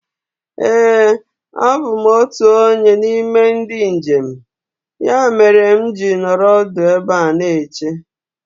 Éè a bụ m otụ onye n'ime ndị njem. Ya meere mụ ji nọrọ ọdụ ebe a na-eche